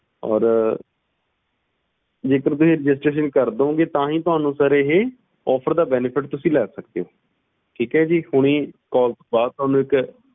ਔਰ ਜੇ ਤੁਸੀਂ registeration ਕਰ ਦਿਓਂਗੇ ਤਾਹਿ ਤੁਸੀਂ ਇਸ offer ਦਾ benefit ਤੁਸੀਂ ਲੈ ਸਕਦੇ ਊ ਹੁਣਿ ਤੁਹਾਨੂੰ call ਬਾਅਦ ਇੱਕ